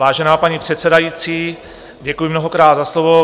Vážená paní předsedající, děkuji mnohokrát za slovo.